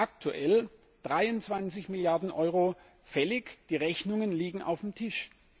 Davon sind aktuell 23 Milliarden Euro fällig, die Rechnungen liegen auf dem Tisch.